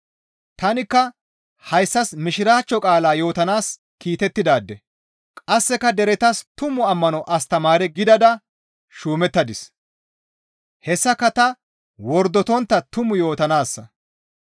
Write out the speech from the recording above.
Tanikka hayssas mishiraachcho qaala yootanaas kiitettidaade; qasseka deretas tumu ammano astamaare gidada shuumettadis; hessaka ta wordotontta tumu yootanaassa.